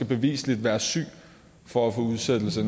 beviseligt være syg for at få udsættelse